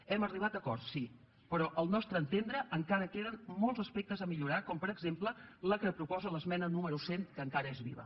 hem arribat a acords sí però al nostre entendre encara queden molts aspectes a millorar com per exemple el que proposa l’esmena número cent que encara és viva